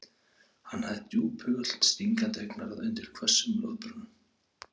Hann hafði djúphugult stingandi augnaráð undir hvössum loðbrúnum.